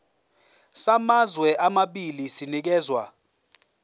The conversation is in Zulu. samazwe amabili sinikezwa